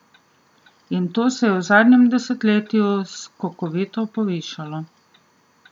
In to se je v zadnjem desetletju skokovito povišalo.